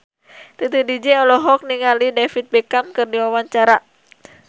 Titi DJ olohok ningali David Beckham keur diwawancara